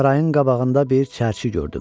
Sarayın qabağında bir çərçi gördüm.